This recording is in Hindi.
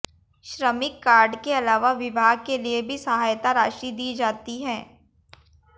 श्रमिक कार्ड के अलावा विवाह के लिए भी सहायता राशि दी जाती है